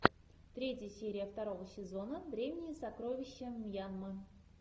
третья серия второго сезона древние сокровища мьянмы